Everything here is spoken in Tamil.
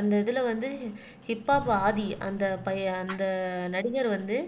அந்த இதுல வந்து ஹிப் ஹாப் ஆதி அந்த பையன் அந்த நடிகர் வந்து